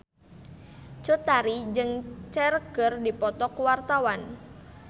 Cut Tari jeung Cher keur dipoto ku wartawan